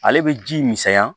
Ale bɛ ji misɛnya